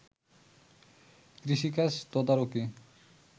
কৃষিকাজ তদারকি